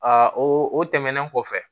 Aa o tɛmɛnen kɔfɛ